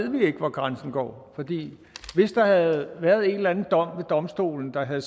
hvor grænsen går hvis der havde været en eller anden dom ved domstolen der havde